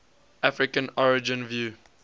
african origin view